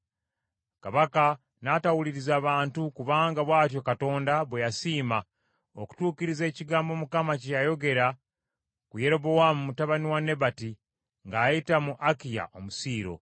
Kabaka n’atawuliriza bantu kubanga bw’atyo Katonda bwe yasiima, okutuukiriza ekigambo Mukama kye yayogera ku Yerobowaamu mutabani wa Nebati ng’ayita mu Akiya Omusiiro.